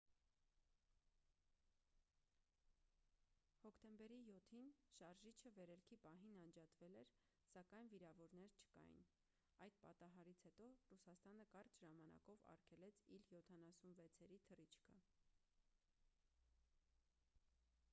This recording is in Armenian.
հոկտեմբերի 7-ին շարժիչը վերելքի պահին անջատվել էր սակայն վիրավորներ չկային: այդ պատահարից հետո ռուսաստանը կարճ ժամանակով արգելեց իլ-76-երի թռիչքը: